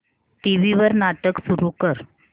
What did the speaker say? TV वर नाटक सुरू कर